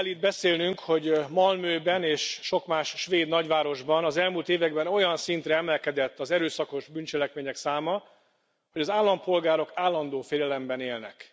Ma arról kell itt beszélnünk, hogy Malmöben és sok más svéd nagyvárosban az elmúlt években olyan szintre emelkedett az erőszakos bűncselekmények száma, hogy az állampolgárok állandó félelemben élnek.